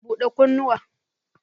Bude kunnuwa.